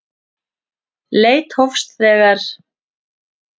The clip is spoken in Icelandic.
Leit hófst þegar